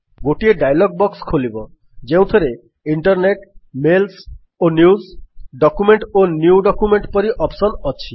ଗୋଟିଏ dialog box ଖୋଲିବ ଯେଉଁଥିରେ ଇଣ୍ଟରନେଟ୍ ମେଲ୍ସ ଓ ନ୍ୟୁଜ୍ ଡକ୍ୟୁମେଣ୍ଟ ଓ ନ୍ୟୁ ଡକ୍ୟୁମେଣ୍ଟ ପରି ଅପ୍ସନ୍ ଅଛି